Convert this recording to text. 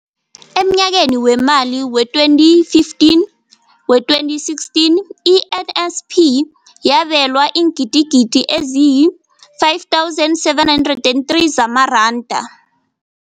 Emnyakeni weemali we-2015, we-2016, i-NSNP yabelwa iingidigidi ezi-5 703 zamaranda.